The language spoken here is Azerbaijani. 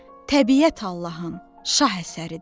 Təbiət Allahın şah əsəridir.